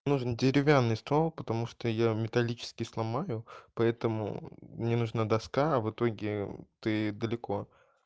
нужен деревянный стол потому что я металлический сломаю поэтому мне нужна доска а в итоге ты далеко